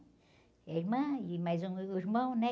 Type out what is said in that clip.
É irmã, e mais um meio irmão, né?